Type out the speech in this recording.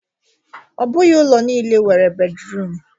Ọ bụghị ụlọ nile nwere bedruum